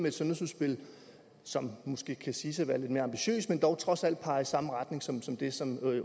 et sundhedsudspil som måske kan siges at være lidt mere ambitiøst men som dog trods alt peger i samme retning som som det som